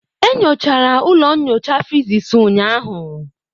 E nyochara ụlọ nyocha physics ụnyahụ.